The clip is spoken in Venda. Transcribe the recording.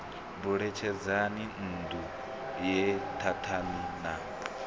buletshedzani nṋdu ye thathani na